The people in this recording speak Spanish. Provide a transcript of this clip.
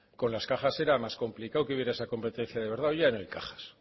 con la cajas era más complicado que hubiera esa competencia de verdad hoy ya no hay cajas